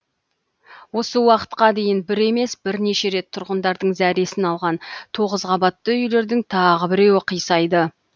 осы уақытқа дейін бір емес бірнеше рет тұрғындардың зәресін алған тоғыз қабатты үйлердің тағы біреуі қисайды